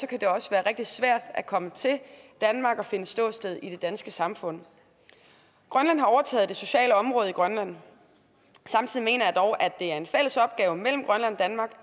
kan det også være rigtig svært at komme til danmark og finde et ståsted i det danske samfund grønland har overtaget det sociale område i grønland samtidig mener jeg dog at er en fælles opgave mellem grønland og danmark